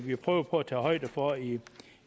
vi prøvet på at tage højde for i